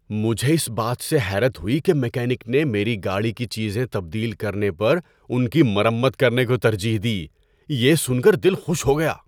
مجھے اس بات سے حیرت ہوئی کہ میکینک نے میری گاڑی کی چیزیں تبدیل کرنے پر ان کی مرمت کرنے کو ترجیح دی۔ یہ سن کر دل خوش ہو گیا۔